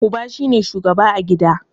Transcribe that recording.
Uba shi ne shugaba a gida.